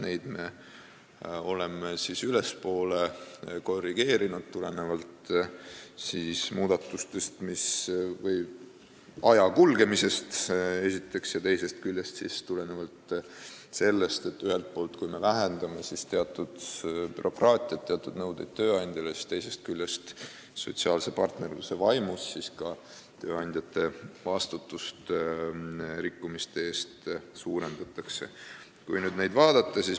Neid me oleme ülespoole korrigeerinud, tulenevalt ühest küljest aja kulgemisest ja teisest küljest sellest, et kui me ühelt poolt vähendame teatud bürokraatiat, tööandjale esitatavaid teatud nõudeid, siis teiselt poolt sotsiaalse partnerluse vaimus suurendatakse tööandjate vastutust rikkumiste eest.